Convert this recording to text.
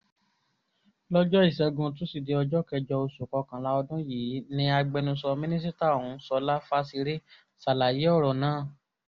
lọjọ isẹgun tuside ọjọ kẹjọ osu kọkanla ọdun yii ni agbẹnusọ minisita ohun Sola Fasere salaye ọrọ naa